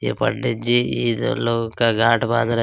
ये पंडित जी इधर लोगो का गांठ बांध रहा है।